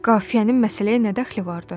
Qafiyənin məsələyə nə dəxli vardı?